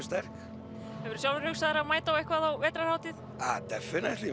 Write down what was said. sterk hefurðu sjálfur hugsað þér að mæta á eitthvað á vetrarhátíð